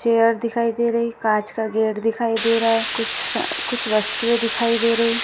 Chair दिखाई दे रही है। काच का गेट दिखाई दे रह है। कुछसा कुछ वस्तुए दिखाई दे रही है।